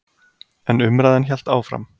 En umræðan hélt áfram.